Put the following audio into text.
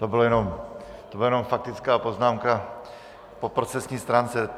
To byla jenom faktická poznámka po procesní stránce.